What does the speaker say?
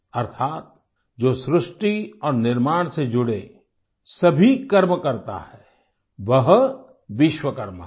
अर्थात जो सृष्टि और निर्माण से जुड़े सभी कर्म करता है वह विश्वकर्मा है